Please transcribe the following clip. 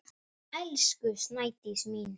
Elsku Snædís mín.